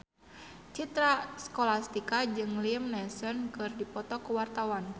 Citra Scholastika jeung Liam Neeson keur dipoto ku wartawan